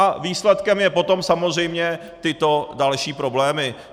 A výsledkem jsou potom samozřejmě tyto další problémy.